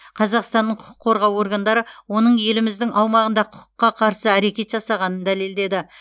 қазақстанның құқық қорғау органдары оның еліміздің аумағында құқыққа қарсы әрекет жасағанын дәлелдеді